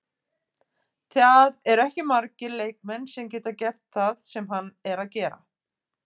Það eru ekki margir leikmenn sem geta gert það sem hann er að gera.